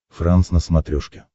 франс на смотрешке